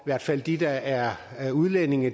hvert fald de der er er udlændinge